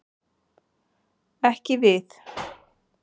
Ekki við.